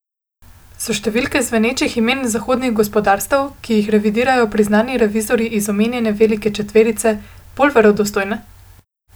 So številke zvenečih imen zahodnih gospodarstev, ki jih revidirajo priznani revizorji iz omenjene velike četverice, bolj verodostojne?